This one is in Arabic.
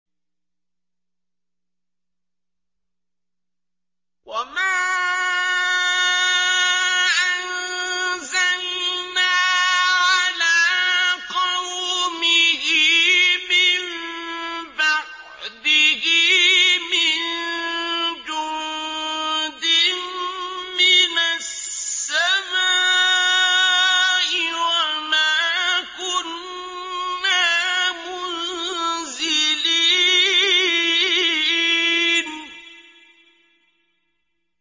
۞ وَمَا أَنزَلْنَا عَلَىٰ قَوْمِهِ مِن بَعْدِهِ مِن جُندٍ مِّنَ السَّمَاءِ وَمَا كُنَّا مُنزِلِينَ